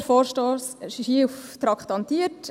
Der Vorstoss ist hier traktandiert.